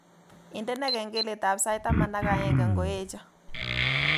Indene kengeletab sait taman ak aeng ngoeche